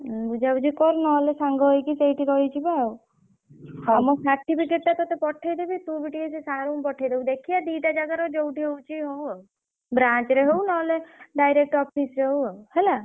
ବୁଝାବୁଝି କର ନହେଲେ ସାଙ୍ଗ ହେଇକି ସେଇଠି ରହିଯିବା ଆଉ ଆଉ ମୋ certificate ଟା ତତେ ପଠେଇଦେବି ତୁ ବି ଟିକେ ସେ sir ଙ୍କୁ ପଠେଇଦବୁ ଦେଖିଆ ଦିଟା ଜାଗାର ଯୋଉଠି ହଉଛି ହଉ ଆଉ branch ରେ ହଉ ନହେଲେ direct office ରେ ହଉ ଆଉ ହେଲା।